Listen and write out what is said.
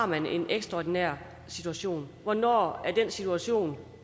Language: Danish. man har en ekstraordinær situation og hvornår den situation